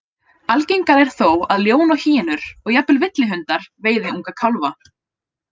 Algengara er þó að ljón og hýenur, og jafnvel villihundar, veiði unga kálfa.